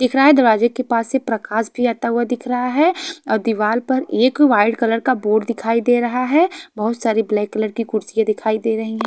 दिख रहा है दरवाज़े के पास से प्रकाश भी आता हुआ दिख रहा है और दिवार पर एक वाइट कलर का बोर्ड दिखाई दे रहा है बहोत सारी ब्लैक कलर की कुर्सियां दिखाई दे रही है--